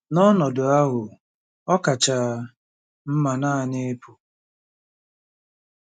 N'ọnọdụ ahụ, ọ kacha mma naanị ịpụ.